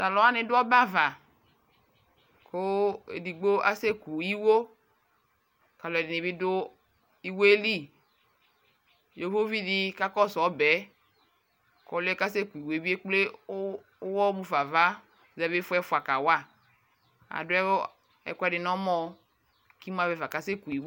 Taluwani du ɔbɛava kuu edigbo kasɛku iwuo kaluɛdinibi du iwoeli iwuovi di kakɔsuu ɔbɛɛ kɔluɛ kasɛku iwoe bi ekple uwɔmufa ava ʒɛvi ifɔ ɛfua kawaa aduu ɛkuɛdi nɔmɛ kimuavɛ fa kasɛku iwuoɛ